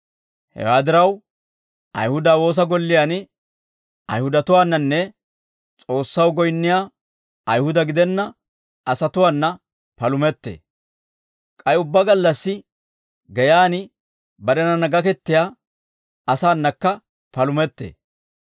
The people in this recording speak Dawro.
Hewaa diraw, Ayihuda woosa golliyaan Ayihudatuwaananne S'oossaw goyinniyaa Ayihuda gidenna asatuwaana palumettee; k'ay ubbaa gallassi geyaan barenanna gakettiyaa asaanakka palumettee.